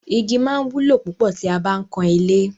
Igi máa wúlò púpọ̀ tí a bá ń kan ilé.